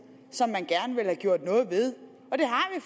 som man gerne vil have gjort noget ved